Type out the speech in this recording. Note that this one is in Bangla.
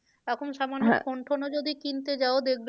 এখন phone টোনও যদি কিনতে যাও দেখবে